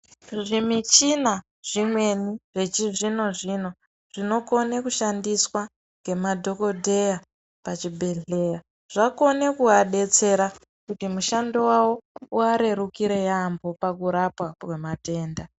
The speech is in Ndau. Zvimichina zvimweni zvechizvino zvino zvinokone kushandiswa ngemadhokodheya pachibhedhlera zvakona kuti vabetsera kuti mushando yavo ivarrrukire yambo pakurapwa kwematenda.